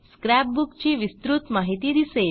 scrap book ची विस्तृत माहिती दिसेल